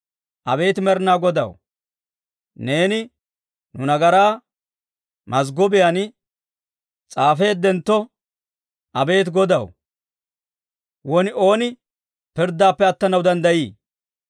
Abeet Med'inaa Godaw, neeni, nu nagaraa mazggobiyaan s'aafeeddentto, abeet Godaw, won ooni pirddaappe attanaw danddayii?